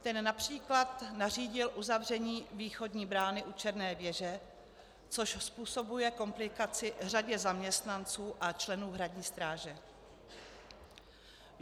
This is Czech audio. Ten například nařídil uzavření východní brány u Černé věže, což způsobuje komplikaci řadě zaměstnanců a členů Hradní stráže.